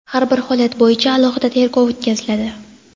har bir holat bo‘yicha "alohida tergov o‘tkaziladi".